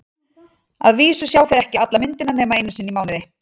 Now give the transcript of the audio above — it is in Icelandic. Að vísu sjá þeir ekki alla myndina nema einu sinni í mánuði.